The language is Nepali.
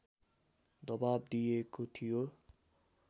दवाब दिइएको थियो